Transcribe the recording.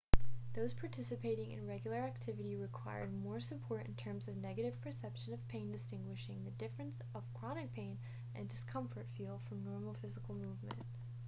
those participating in regular activity required more support in terms of negative perception of pain distinguishing the differences of chronic pain and discomfort feel from normal physical movement